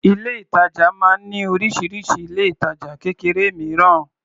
Ilé-ìtàjà máa ń ní oríṣiríṣi ilé-ìtajà kékeré mìíràn.